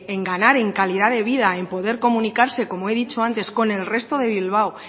en ganar en calidad de vida en poder comunicarse como he dicho antes con el resto de bilbao